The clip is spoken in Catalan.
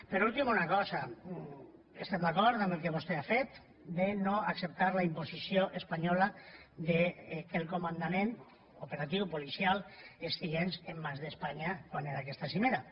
per últim una cosa estem d’acord amb el que vostè ha fet de no acceptar la imposició espanyola que el comandament operatiu policial estigués en mans d’espanya quan era aquesta cimera